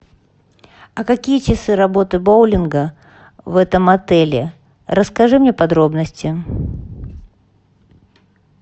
а какие часы работы боулинга в этом отеле расскажи мне подробности